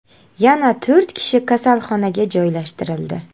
Yana to‘rt kishi kasalxonaga joylashtirildi.